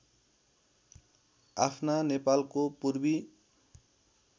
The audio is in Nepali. आफ्ना नेपालको पूर्वी